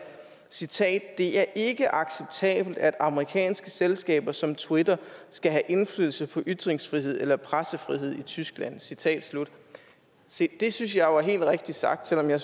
citat det er ikke acceptabelt at amerikanske selskaber som twitter skal have indflydelse på ytringsfrihed eller pressefrihed i tyskland citat slut se det synes jeg jo er helt rigtigt sagt selv om jeg